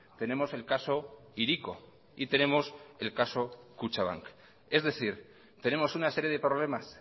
tenemos el caso hiriko y tenemos el caso kutxabank es decir tenemos una serie de problemas